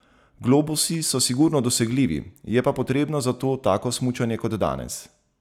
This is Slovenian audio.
Globusi so sigurno dosegljivi, je pa potrebno za to tako smučanje kot danes.